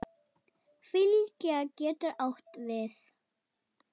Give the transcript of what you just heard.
Fylgja getur átt við